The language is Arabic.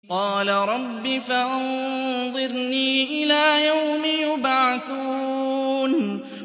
قَالَ رَبِّ فَأَنظِرْنِي إِلَىٰ يَوْمِ يُبْعَثُونَ